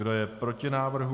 Kdo je proti návrhu?